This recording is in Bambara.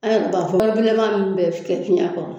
Ayiwa o ka bɔgɔ bilenma min bɛ kɛ fiyɛn kɔrɔ